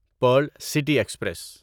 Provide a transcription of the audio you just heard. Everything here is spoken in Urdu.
Pearl City express